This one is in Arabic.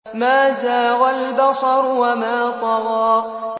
مَا زَاغَ الْبَصَرُ وَمَا طَغَىٰ